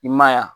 I ma ye wa